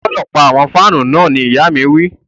O gbọdọ pa awọn fanu náà ni ìya mi wi.